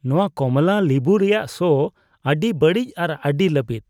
ᱱᱚᱣᱟ ᱠᱚᱢᱞᱟ ᱞᱤᱵᱩ ᱨᱮᱭᱟᱜ ᱥᱚ ᱟᱹᱰᱤ ᱵᱟᱹᱲᱤᱡ ᱟᱨ ᱟᱹᱰᱤ ᱞᱟᱹᱵᱤᱫ ᱾